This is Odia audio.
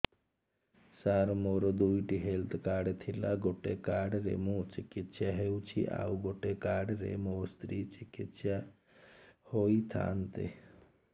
ସାର ମୋର ଦୁଇଟି ହେଲ୍ଥ କାର୍ଡ ଥିଲା ଗୋଟେ କାର୍ଡ ରେ ମୁଁ ଚିକିତ୍ସା ହେଉଛି ଆଉ ଗୋଟେ କାର୍ଡ ରେ ମୋ ସ୍ତ୍ରୀ ଚିକିତ୍ସା ହୋଇଥାନ୍ତେ